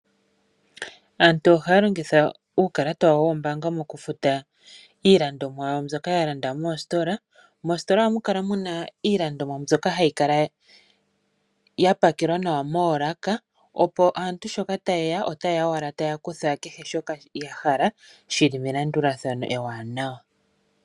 Aantu ohaya longitha uukalata wawo woombanga mokufuta iilandomwa yawo mbyoka ya landa moositola. Moositola ohamu kala mu na iilandomwa mbyoka ha yi kala ya pakelwa nawa moolaka, opo aantu sho taye ya, otaye ya owala taa kutha shoka ya hala, shi li melandulathano ewanawa.